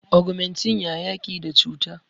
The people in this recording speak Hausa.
ogumentin ya yaki da cuta